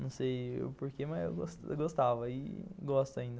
Não sei o porquê, mas eu gostava e gosto ainda.